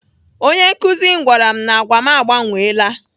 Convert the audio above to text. Onye nkụzi m gwara m na agwa m agbanweela.